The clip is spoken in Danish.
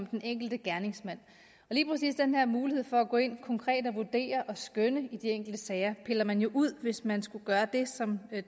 den enkelte gerningsmand og lige præcis den her mulighed for at gå ind konkret og vurdere og skønne i de enkelte sager piller man jo ud hvis man skulle gøre det som